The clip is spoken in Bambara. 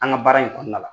An ka baara in kɔnɔna la